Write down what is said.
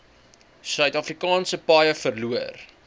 suidafrikaanse paaie verloor